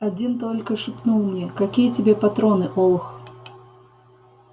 один только шепнул мне какие тебе патроны олух